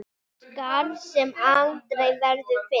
Skarð sem aldrei verður fyllt.